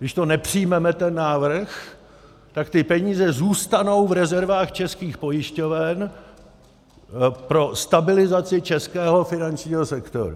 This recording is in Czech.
Když to nepřijmeme, ten návrh, tak ty peníze zůstanou v rezervách českých pojišťoven pro stabilizaci českého finančního sektoru.